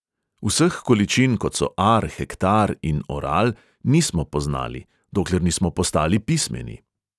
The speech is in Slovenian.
Vseh količin, kot so ar, hektar in oral, nismo poznali, dokler nismo postali pismeni.